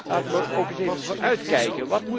Laten we eens even vooruitkijken.